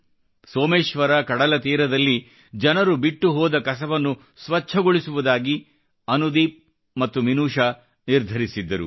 ಸೋಮೇಶ್ವರ ಕಡಲತೀರದಲ್ಲಿ ಜನರು ಬಿಟ್ಟು ಹೋದ ಕಸವನ್ನು ಸ್ವಚ್ಛಗೊಳಿಸುವುದಾಗಿ ಅನುದೀಪ್ ಮತ್ತು ಮಿನುಷಾ ನಿರ್ಧರಿಸಿದ್ದರು